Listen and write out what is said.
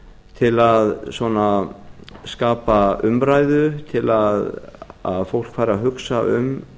til að skapa umræðu til að fólk fari að hugsa um